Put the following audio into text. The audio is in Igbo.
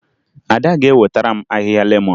Ada ga-ewetara m ahịhịa lemọn